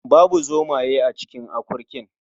Babu zomaye a cikin akurkin.